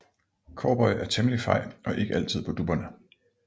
Cowboy er temmelig fej og ikke altid på dupperne